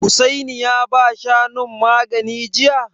Hussaini ya ba Shanun magani jiya?